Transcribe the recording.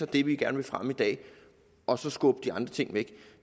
det vi gerne vil fremme i dag og så skubbe de andre ting væk